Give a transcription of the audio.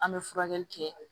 An bɛ furakɛli kɛ